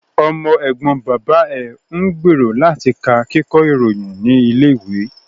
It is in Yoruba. Ọmọ ẹ̀gbọ́n bàbá ẹ̀ ń gbèrò láti ka Kíkọ́ ìròyìn ní ilé ìwé